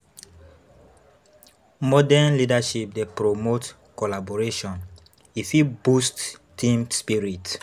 Modern leadership dey promote collaboration; e fit boost team spirit.